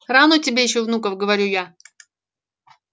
рано тебе ещё внуков говорю я